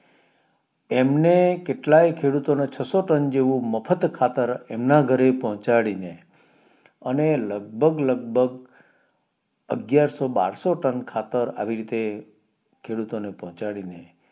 એમને કેટલાય ખેડૂતોને છસો ત્રણ જેવું મફત ખાતર એમના ઘરે પોચડીને અને લગભગ લગભગ અગિયારસો બરસો ટન ખાતર આવી રીતે ખેડૂતોને પોચડીને